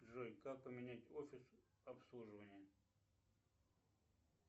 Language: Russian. джой как поменять офис обслуживания